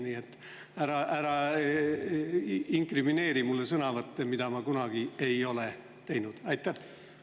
Nii et ära inkrimineeri mulle sõnavõtte, millega ma kunagi ei ole.